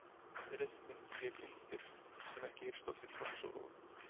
Ryþminn lék undir sem ekki heyrist oft í trommusólóum.